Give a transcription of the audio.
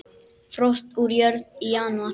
Frost úr jörð í janúar.